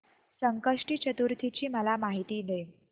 संकष्टी चतुर्थी ची मला माहिती दे